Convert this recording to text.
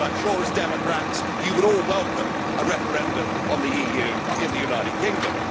I am sure that, as democrats, you would all welcome a referendum on the EU in the United Kingdom.